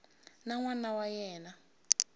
na n wana wa yena